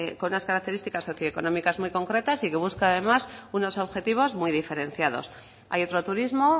con unas características socioeconómicas muy concretas y que busca además unos objetivos muy diferenciados hay otro turismo